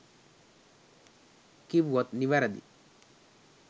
කිව්වොත් නිවැරදි